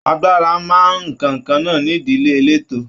Agbára máa n nkánkànnà n'ídílé eleto.